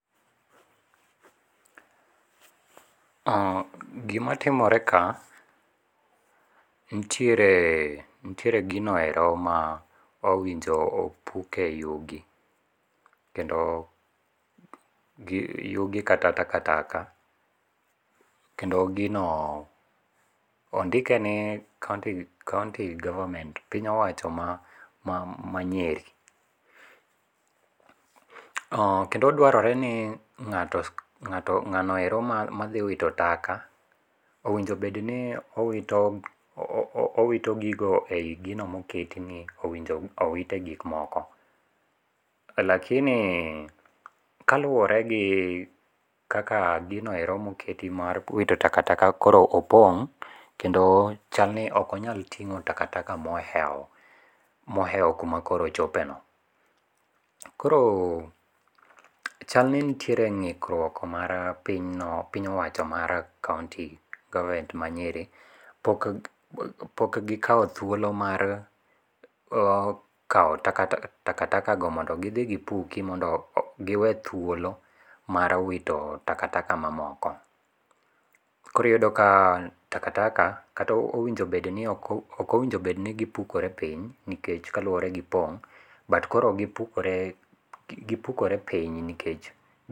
Gimatimore ka, nitiere nitiere ginoero ma owinjo opuke yugi. Kendo yugi kata takataka, kendo gino ondike ni county government piny owacho ma ma Nyeri. Kendo dwarore ni ng'ato ng'anoero mathi wito taka owinjo bed ni owito owito gigo e yi gino moketi owinjo owite gik moko, lakini kaluore gi kaka ginoero moketi mar wito takataka koro opong' kendo chalni okonyal ting'o takataka mohewo mohewo kuma koro ochopeno. Koro chalni nitiere ng'ikruok mar piny owacho mar county government ma Nyeri. Pok gikawo thuolo mar kawo takatakago mondo gidhi gipuki mondo giwe thuolo mar wito takataka ma moko. Koro iyudo ka takataka kata owinjo bed ni ok owinjo bed ni gipukore piny nikech kaluore gi pong' but koro gipukore piny nikech.